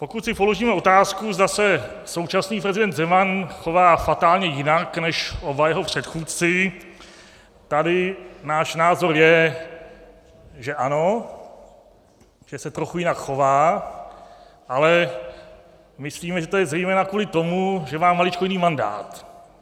Pokud si položíme otázku, zda se současný prezident Zeman chová fatálně jinak než oba jeho předchůdci, tady náš názor je, že ano, že se trochu jinak chová, ale myslíme, že to je zejména kvůli tomu, že má maličko jiný mandát.